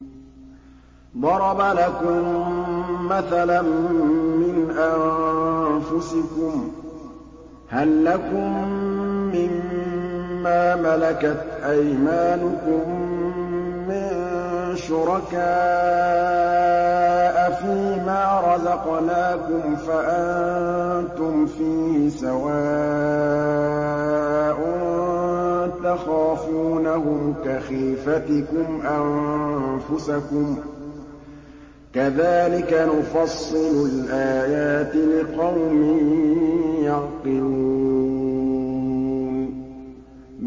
ضَرَبَ لَكُم مَّثَلًا مِّنْ أَنفُسِكُمْ ۖ هَل لَّكُم مِّن مَّا مَلَكَتْ أَيْمَانُكُم مِّن شُرَكَاءَ فِي مَا رَزَقْنَاكُمْ فَأَنتُمْ فِيهِ سَوَاءٌ تَخَافُونَهُمْ كَخِيفَتِكُمْ أَنفُسَكُمْ ۚ كَذَٰلِكَ نُفَصِّلُ الْآيَاتِ لِقَوْمٍ يَعْقِلُونَ